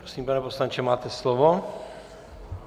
Prosím, pane poslanče, máte slovo.